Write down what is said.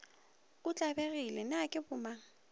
o tlabegile na ke bonang